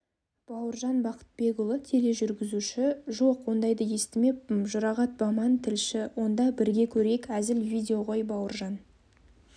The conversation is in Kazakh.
бауыржан бақытбекұлы тележүргізуші жоқ ондайды естімеппін жұрағат баман тілші онда бірге көрейік әзіл видео ғой бауыржан